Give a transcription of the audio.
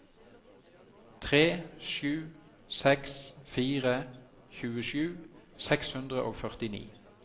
tre sju seks fire tjuesju seks hundre og førtini